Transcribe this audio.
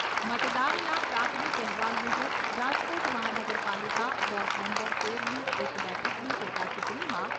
મતદાનના પ્રાથમિક અહેવાલ મુજબ રાજકોટ મહાનગરપાલિકા વોર્ડ નંબર તેરની એક બેઠકની પેટા ચુંટણીમાં